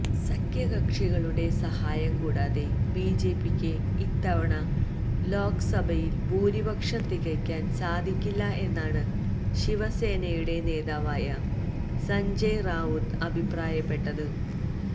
സഖ്യകക്ഷികളുടെ സഹായം കൂടാതെ ബിജെപിക്ക് ഇത്തവണ ലോക്സഭയില് ഭൂരിപക്ഷം തികയ്ക്കാന് സാധിക്കില്ല എന്നാണ് ശിവസേനയുടെ നേതാവായ സഞ്ജയ് റാവുത്ത് അഭിപ്രായപ്പെട്ടത്